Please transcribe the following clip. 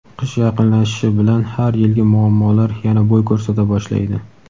Qish yaqinlashishi bilan har yilgi muammolar yana bo‘y ko‘rsata boshlaydi.